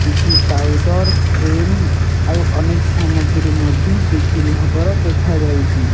କିଛି powder cream ଆଉ ଅନେକ ସାମଗ୍ରୀ ମଧ୍ୟ ବିକ୍ରି ହେବାର ଦେଖା ଯାଉଅଛି।